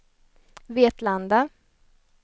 Vetlanda